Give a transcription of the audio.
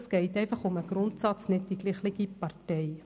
Es geht um den Grundsatz: nicht die gleiche Partei.